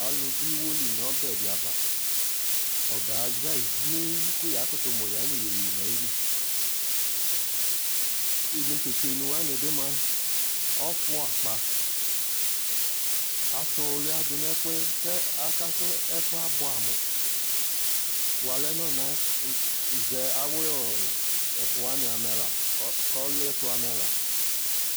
Alu du iwo li nu ɔbɛ di ya vaƆbɛ aza zieen ku ya kutu mu ya nu yeye na yi liInetetse wani bi mua, ɔfu akpa atu luya du nɛ fuɛAka ku ɛfuɛ abuɛ amuWalɛ nazɛ awuɛ fu wani amɛ laKɔliɛtu amɛ la